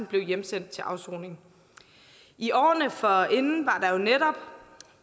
blev hjemsendt til afsoning i årene forinden var det jo netop